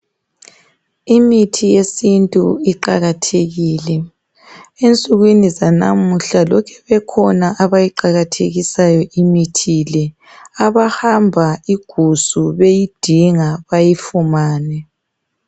Imithi yesintu iqakathekile. Ensukwini zanamuhla lokhe bekhona abayiqakathekisayo imithi le. Abahamba igusu beyidinga bayifumane.